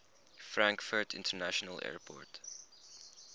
frankfurt international airport